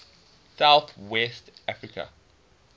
south west africa